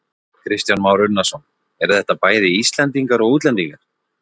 Kristján Már Unnarsson: Eru þetta bæði Íslendingar og útlendingar?